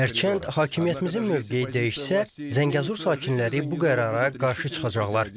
Hərçənd hakimiyyətimizin mövqeyi dəyişsə, Zəngəzur sakinləri bu qərara qarşı çıxacaqlar.